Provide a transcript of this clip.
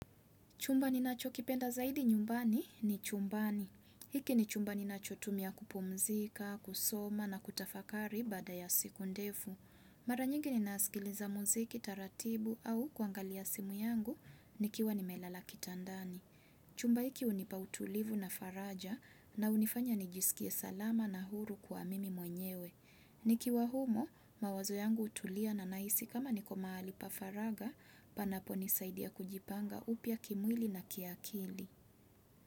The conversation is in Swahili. Chumba ninachokipenda zaidi nyumbani ni chumbani hiki ni chumba ninachotumia kupumzika, kusoma na kutafakari baada ya siku ndefu. Mara nyingi ninaaskiliza muziki taratibu au kuangalia simu yangu nikiwa nimelala kitandani. Chumba hiki hunipa utulivu na faraja na unifanya nijisikie salama na huru kwa mimi mwenyewe. Nikiwa humo mawazo yangu hutulia na nahisi kama niko mahali pa faraga panaponisaidia kujipanga upya kimwili na kiakili.